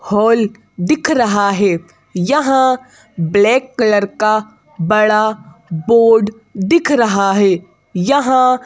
hall दिख रहा है यहां ब्लैक कलर का बड़ा बोर्ड दिख रहा है यहां--